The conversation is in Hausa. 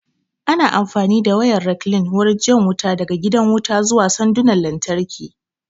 Ana amfani da wayar rekline wurin jan wuta daga gidan wuta zuwa sandunan lantarki